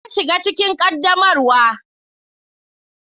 Na shiga cikin ƙaddamarwa.